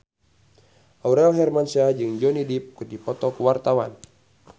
Aurel Hermansyah jeung Johnny Depp keur dipoto ku wartawan